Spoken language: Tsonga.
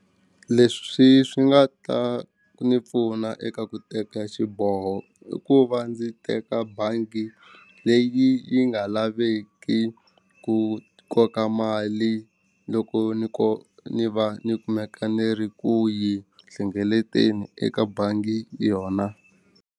Leswi swi nga ta ni pfuna eka ku teka xiboho i ku va ndzi teka bangi leyi yi nga laveki ku koka mali loko ni ku ni va ni kumeka ni ri ku yi hlengeleteni eka bangi yona.